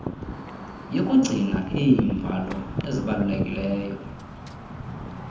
yokugcina iimbalo ezibalulekileyo